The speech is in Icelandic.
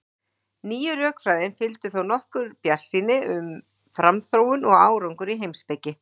Nýju rökfræðinni fylgdi þó nokkur bjartsýni um framþróun og árangur í heimspeki.